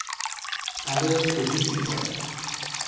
Padejo skozi sito.